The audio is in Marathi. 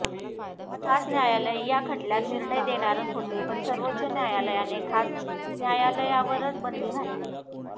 खास न्यायालय या खटल्यात निर्णय देणारच होते पण सर्वोच्च न्यायालयाने खास न्यायालयावर बंदी घातली